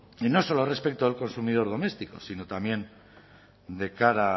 y no solo respecto del consumidor doméstico sino también de cara